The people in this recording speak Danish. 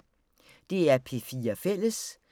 DR P4 Fælles